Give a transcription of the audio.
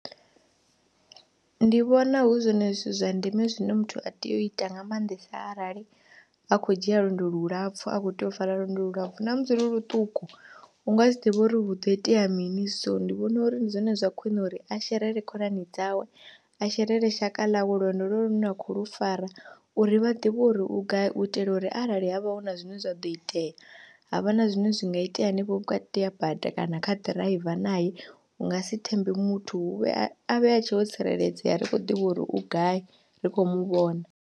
Ndi vhona hu zwone zwithu zwa ndeme zwine muthu a tea u ita nga maanḓesa arali a khou dzhia lwendo lulapfhu a khou tea u fara lwendo lulapfhu na musi lu ḽuṱuku u nga si ḓivhe uri hu do itea mini, so ndi vhona uri ndi zwone zwa khwiṋe uri a sherele khonani dzawe, a sherele shaka ḽawe lwonolwo lune lwa khou lu fara uri vha ḓivhe uri u gai u itela uri arali ha vha hu na zwine zwa ḓo itea ha vha na zwine zwi nga itea henefho vhukati ha bada kana kha ḓiraiva nae hu nga si thembe muthu hu vhe, a vhe a tshe o tsireledzea, ri khou ḓivha uri u gai ri khou mu vhona.